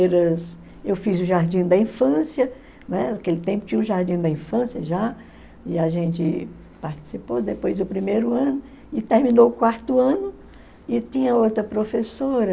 Eu fiz o jardim da infância, né, naquele tempo tinha o jardim da infância já, e a gente participou, depois o primeiro ano, e terminou o quarto ano, e tinha outra professora,